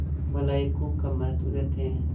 भलाई को कम महत्व देते हैं